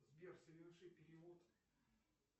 сбер соверши перевод